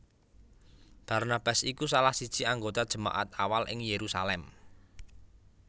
Barnabas iku salah siji anggota jemaat awal ing Yerusalem